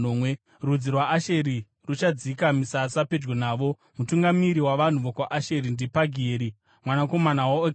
Rudzi rwaAsheri ruchadzika misasa pedyo navo. Mutungamiri wavanhu vokwaAsheri ndiPagieri mwanakomana waOkerani.